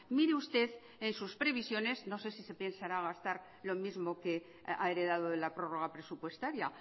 mire usted en sus previsiones no sé si se pensara gastar lo mismo que ha heredado de la prórroga presupuestaria